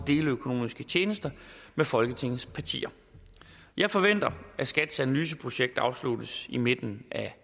deleøkonomiske tjenester med folketingets partier jeg forventer at skats analyseprojekt afsluttes i midten af